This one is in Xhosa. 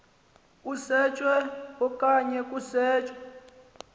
usetshwe okanye kusetshwe